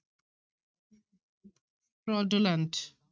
Fraudulent